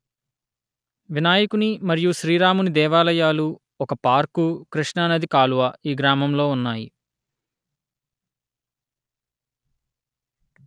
వినాయకుని మరియు శ్రీరాముని దేవాలయాలు ఒక పార్కు కృష్ణా నది కాలువ ఈ గ్రామంలో ఉన్నాయి